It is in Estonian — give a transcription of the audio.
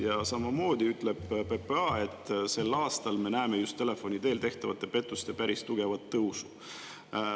Ja samamoodi ütleb PPA, et sel aastal me näeme just telefoni teel tehtavate pettuste päris tugevat tõusu.